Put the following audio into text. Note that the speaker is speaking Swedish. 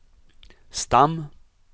stam